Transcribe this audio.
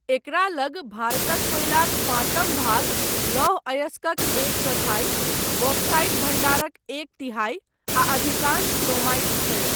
एकरा लग भारतक कोयलाक पाँचम भाग, लौह अयस्कक एक चौथाई, बॉक्साइट भण्डारक एक तिहाई, आ अधिकांश क्रोमाइट छै।